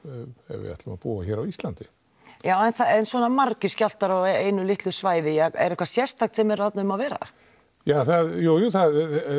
ef við ætlum að búa hér á Íslandi já en svona margir skjálftar á einu litlu svæði er eitthvað sérstakt sem er þarna um að vera ja jú það